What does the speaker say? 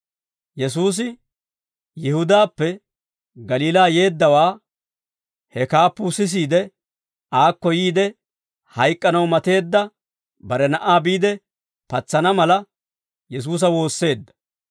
Yesuusi Yihudaappe Galiilaa yeeddawaa he kaappuu sisiide, aakko yiide hayk'k'anaw mateedda bare na'aa biide patsana mala, Yesuusa woosseedda.